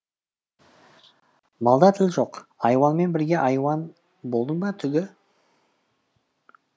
малда тіл жоқ айуанмен бірге айуан болдың ба түгі